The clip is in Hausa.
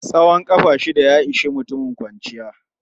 Tsawon ƙafa shida ya ishi mutum kwanciya.